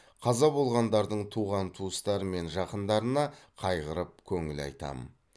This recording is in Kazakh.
қаза болғандардың туған туыстары мен жақындарына қайғырып көңіл айтамын